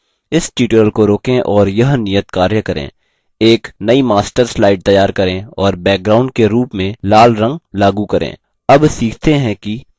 इस tutorial को रोकें और यह नियतकार्य करें एक नयी master slide तैयार करें और background के रूप में लालरंग लागू करें